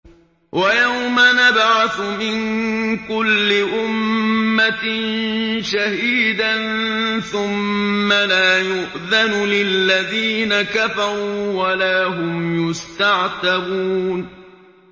وَيَوْمَ نَبْعَثُ مِن كُلِّ أُمَّةٍ شَهِيدًا ثُمَّ لَا يُؤْذَنُ لِلَّذِينَ كَفَرُوا وَلَا هُمْ يُسْتَعْتَبُونَ